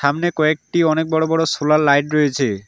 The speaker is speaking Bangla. সামনে কয়েকটি অনেক বড়ো বড়ো সোলার লাইট রয়েছে।